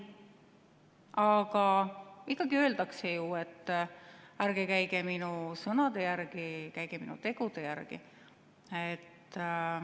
Aga ikka öeldakse ju, et ärge käige minu sõnade järgi, käige minu tegude järgi.